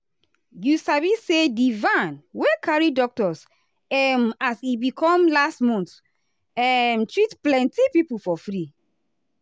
you sabi saydi van wey carry doctors um as e be come last month um treat plenty people for free.